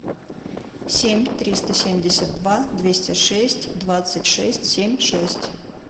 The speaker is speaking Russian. семь триста семьдесят два двести шесть двадцать шесть семьдесят шесть